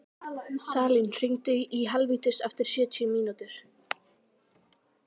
Salín, hringdu í Helvítus eftir sjötíu mínútur.